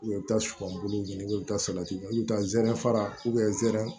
u bɛ taa sɔbulu ɲini u bɛ taa salati ɲini i bɛ taa zɛrɛn fara zɛra